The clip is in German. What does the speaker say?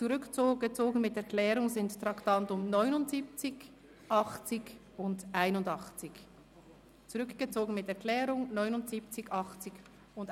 Zurückgezogen mit Erklärung sind die Traktanden 79, 80 und 81.